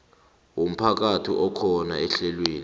womphakathi akhona ehlelweni